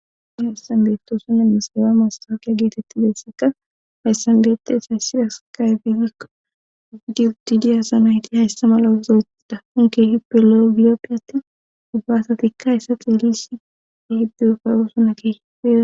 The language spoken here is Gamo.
ni hesan beeftoosuna emiseewa massafiya geetetti beesseka hayssanbeette esaysida skayfihikko ugidi utidi asamayti hayssa mala wozoethida unke hippe lo7 gilioppiyati ubbaasatikka hayssa xeelisi keehipe ufay oosona keehipe